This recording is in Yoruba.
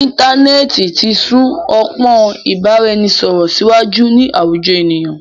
Íntanẹ́ẹ̀ti ti sún ọpọ́n ìbáraẹnisọ̀rọ̀ síwájú ní àwùjọ ènìyàn.